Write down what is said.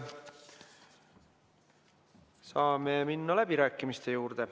Saame minna läbirääkimiste juurde.